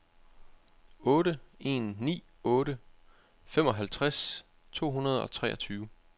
otte en ni otte femoghalvtreds to hundrede og treogtyve